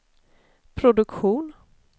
produktion